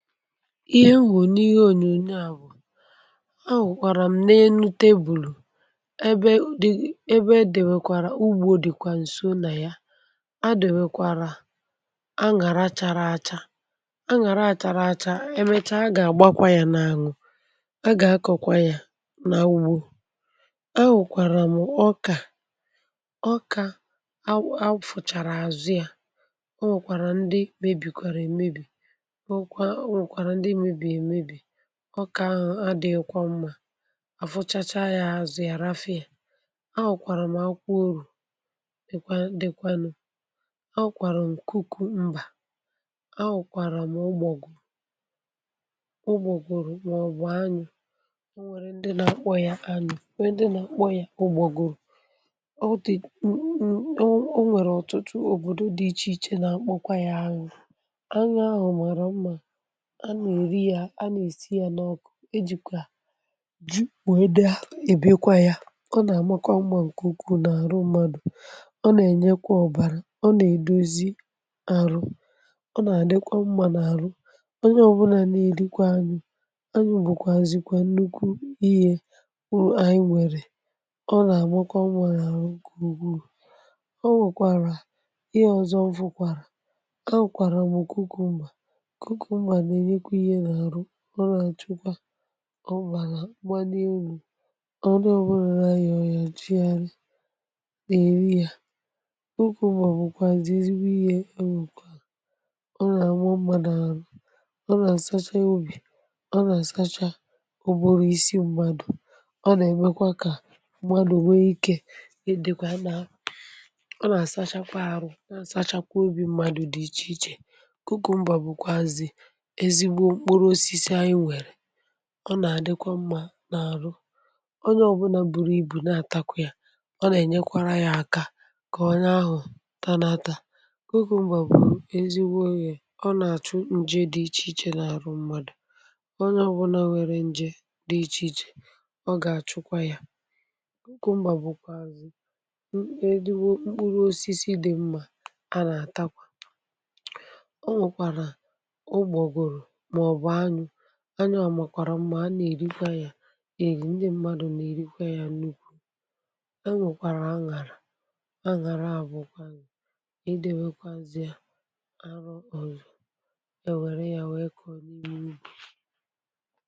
Ihe m hụrụ n'ihe onyonyo a bụ a hụkwara m n'elu tebulu ebe udi ebe e dewekwara ugbo dịkwa nso na ya. E dewekwara aṅàrà chara acha. Aṅàrà a chara acha emechaa a ga-agbakwa ya n'anwụ. A ga-akọkwa ya n'ugbo. A hụkwara m ọka awu awu fụchara azụ ya. O nwekwara ndị mebikkwara emebi o kwa o nwekwara ndị mebii emebi. Ọka ahụ adịghịkwa mma. A fụchachaa ya azụ ya rafụ ya. A hụkwara m akwụkwọ órù dịkwa dikwa nụ. A hụkwara m cucumber. A hụkwara ụ́gbọgụrụ ụ́gbọgụrụ maọbụ ányụ. O nwere ndị na-akpọ ya ányụ nwee ndị na-akpọ ya ụ́gbọgụrụ. Ọ dị m m o o nwere ọtụtụ obodo dị iche iche na-akpọkwa ya ányụ. Ányụ ahụ mara mma. A na-eri ya a na-esi ya n'ọkụ. E jikwa ji wee na ebiekwa ya. Ọ na-amakwa mma nke ukwuu n'arụ mmadụ. Ọ nna-enyekwa ọbara. Ọ na-edozi arụ. Ọ na-adịkwa mma n'arụ. Onye ọbụla na-erikwa ányụ. Anyụ bụkwa zikwa nnukwu ihe m anyị nwere. Ọ na-amakwa mma n'ahụ nke ukwuu. O nwekwara ihe ọzọ m fụkwara. A hụkwara m cucumber. Cucumber na-enyekwa ohe n'arụ. Ọ na-achụkwa ọbala mgbalielu. Onye ọbụla na-arịa ọrịa na-eri ya. Cucumber bụkwazị ezigbo ihe e nwekwalụ. Ọ na-ama mma n'arụ. Ọ na-asacha obi. Ọ na-asacha ụbụrụ isi mmadụ. Ọ na-emekwa ka mmadụ nwee ike ị dị na ọ na-asachakwa arụ na-asacha kwa obi mmadụ dị iche iche. Cucumber bụkwa ezigbo mkpụrụ osisi anyị nwere. Ọ na-adîkwa mma n'arụ. Onye ọbụna buru ibu na-atakwa ya, ọ nà-ènyekwara ya aka ka onye ahụ tanata. Cucumber bụ ezigbo ihe. Ọ nà-àchụ njé dị iche iche n'arụ mmadụ. Onye ọbụla nwere nje dị iche iche, ọ ga-achụkwa ya. Cucumber bụkwazị m ezigbo mkpụrụ osisi dị mma a na-atakwa. O nwekwara ụgbọgụrụ maọbụ anyụ. Anyụ a makwara mma. A nna-erikwa ya eri. Ndị mmadụ na-erikwa ya nnukwu. E nwekwara aṅàrà. Aṅàrà a bụkwanụ idebekwazị ya e were ya wee kọọ nni n'ubi.